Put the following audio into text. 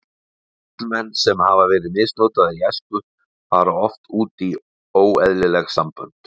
Karlmenn sem hafa verið misnotaðir í æsku fara oft út í óeðlileg sambönd.